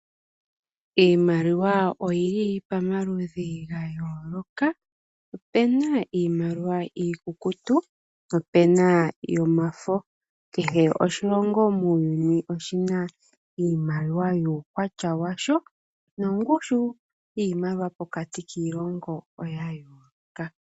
Iimaliwa oyili pamaludhi gayooloka opuna iimaliwa iikukutu nopuna yomafo. Kehe oshilongo muuyuni oshina iimaliwa yuukwatya washo nongushu yiimaliwa pokati kiilongo oya yooloka.